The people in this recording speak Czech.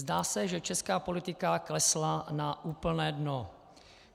Zdá se, že česká politika klesla na úplné dno.